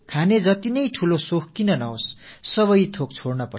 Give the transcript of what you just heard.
உணவின் மீது எத்தனை ஆசை அதிகம் இருந்தாலும் அவை அனைத்தையும் துறக்க வேண்டியிருக்கிறது